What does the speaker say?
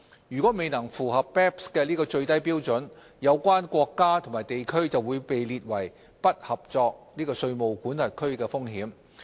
如果未能符合 BEPS 的最低標準，有關國家或地區將面臨被列為"不合作"稅務管轄區的風險。